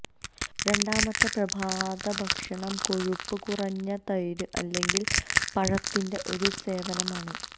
രണ്ടാമത്തെ പ്രഭാതഭക്ഷണം കൊഴുപ്പ് കുറഞ്ഞ തൈര് അല്ലെങ്കിൽ പഴത്തിൻറെ ഒരു സേവനമാണ്